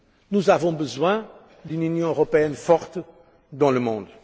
Nous avons besoin d'une Union européenne forte dans le monde.